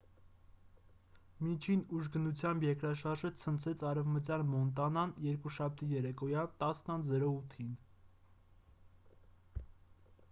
միջին ուժգնությամբ երկրաշարժը ցնցեց արևմտյան մոնտանան երկուշաբթի երեկոյան 10։08-ին: